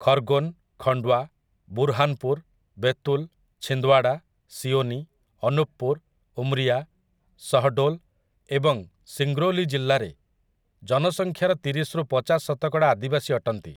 ଖର୍ଗୋନ୍, ଖଣ୍ଡ୍‌ୱା, ବୁର୍ହାନ୍‌ପୁର୍, ବେତୁଲ୍, ଛିନ୍ଦ୍‌ୱାଡ଼ା, ସିଓନି, ଅନୁପ୍‌ପୁର, ଉମ୍ରିଆ, ଶହ୍‌ଡୋଲ୍ ଏବଂ ସିଙ୍ଗ୍ରୌଲି ଜିଲ୍ଲାରେ ଜନସଂଖ୍ୟାର ତିରିଶ ରୁ ପଚାଶ ଶତକଡ଼ା ଆଦିବାସୀ ଅଟନ୍ତି ।